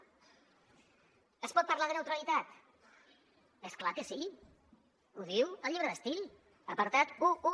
es pot parlar de neutralitat és clar que sí ho diu el llibre d’estil apartat onze